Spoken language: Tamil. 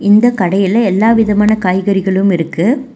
இந்த கடையில எல்லா விதமான காய்கறிகளும் இருக்கு.